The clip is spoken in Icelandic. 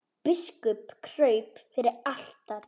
Biskup kraup fyrir altari.